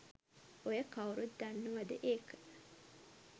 ඔය කවුරුවත් දන්නවද ඒක?